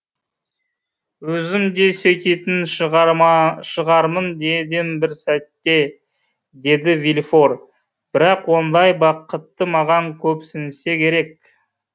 өзім де сөйтетін шығармын дедім бір сәтте деді вильфор бірақ ондай бақытты маған көпсінсе керек